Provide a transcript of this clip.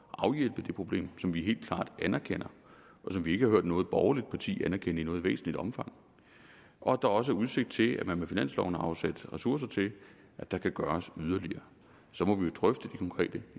at afhjælpe det problem som vi helt klart anerkender og som vi ikke har hørt noget borgerligt parti anerkende i noget væsentligt omfang og at der også er udsigt til at man med finansloven har afsat ressourcer til at der kan gøres yderligere og så må vi jo drøfte de konkrete